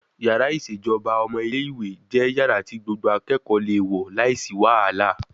Yàrá ìṣèjọba ọmọ ilé ìwé jẹ́ yàrá tí gbogbo akẹ́kọ̀ọ́ le wọ̀ láìsí wàhálà